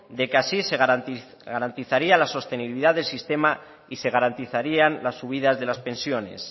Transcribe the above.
de que así se garantizaría la sostenibilidad del sistema y se garantizarían las subidas de las pensiones